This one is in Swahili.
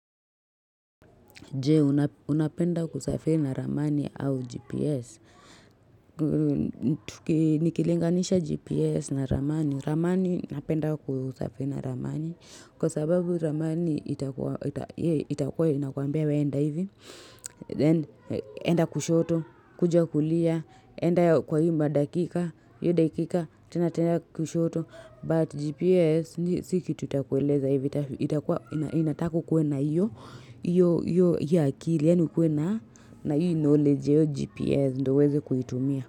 Jee, unapenda kusafiri na ramani au GPS. Nikilinganisha GPS na ramani. Ramani, napenda kusafiri na ramani. Kwa sababu ramani, itakue, inakuambia weenda hivi. Then, enda kushoto, kuja kulia, enda kwa hii madakika, hiyo dakika, tena tena kushoto. But GPS si kitu itakueleza itakua inataka ukue na hiyo akili yaani ukue na na hii knowledge ya hiyo GPS ndo uweze kuitumia.